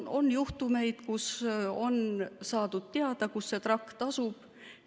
On juhtumeid, kus on saadud teada, kus see trakt tasub.